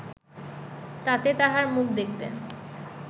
তাতে তাঁহার মুখ দেখতে